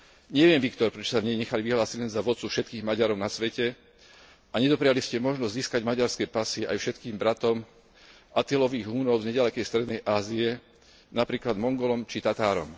Neviem, Viktor, prečo ste sa v nej nechali vyhlásiť len za vodcu všetkých Maďarov na svete a nedopriali ste možnosť získať maďarské pasy aj všetkým bratom Atillových Húnov z neďalekej strednej Ázie, napríklad Mongolom či Tatárom.